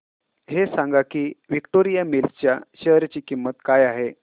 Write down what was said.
हे सांगा की विक्टोरिया मिल्स च्या शेअर ची किंमत काय आहे